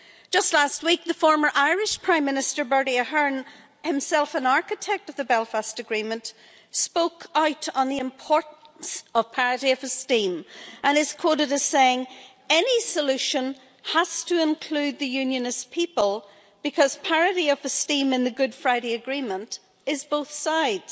Just last week the former Irish Prime Minister, Bertie Ahern, himself an architect of the Belfast Agreement, spoke out on the importance of parity of esteem, and is quoted as saying any solution has to include the Unionist people, because parity of esteem in the Good Friday Agreement is both sides.'